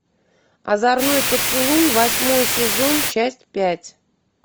озорной поцелуй восьмой сезон часть пять